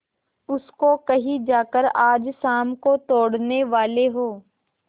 उसको कहीं जाकर आज शाम को तोड़ने वाले हों